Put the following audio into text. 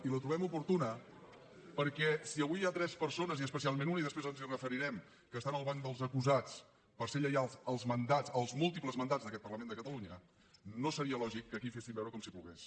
i la trobem oportuna perquè si avui hi ha tres persones i especialment una i després ens hi referirem que estan al banc dels acusats per ser lleials als mandats als múltiples mandats d’aquest parlament de catalunya no seria lògic que aquí féssim veure com si plogués